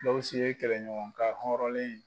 Gawusu ye kɛlɛɲɔgɔnkan hɔrɔnlen ye.